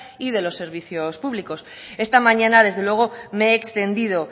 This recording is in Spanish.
y de los servicios públicos esta mañana desde luego me he extendido